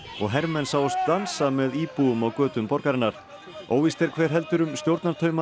hermenn sáust dansa með íbúum á götum borgarinnar óvíst er hver heldur um stjórnartaumana